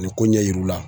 Ani ko ɲɛ yir'u la